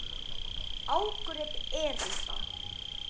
Ágrip erinda.